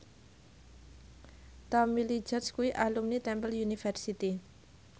Tommy Lee Jones kuwi alumni Temple University